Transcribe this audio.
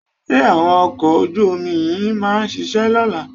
Ṣé àwọn ọkọ̀ ojú-omi yín máa ṣiṣẹ́ lọ́la?